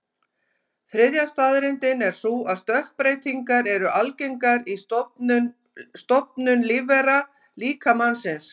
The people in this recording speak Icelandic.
Þriðja staðreyndin er sú að stökkbreytingar eru algengar í stofnum lífvera, líka mannsins.